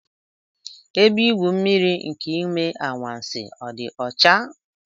Ebe igwu mmiri nke Ime Anwansi ọ dị ọcha?